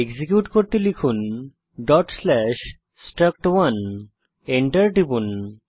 execute করতে লিখুন struct1ডট স্লেস স্ট্রাক্ট1 Enter টিপুন